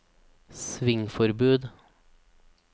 svingforbud